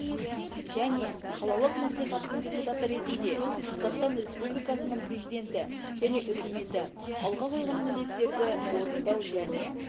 және қалалық мәслихаттың депутаты ретінде қазақстан республикасының президенті мен үкіметі алға қойған міндеттерді орындау және